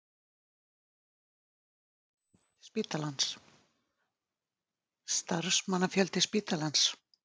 Starfsmannafjöldi spítalans?